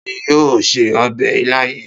Ta ni yóò se ọbẹ̀ ilá yìí?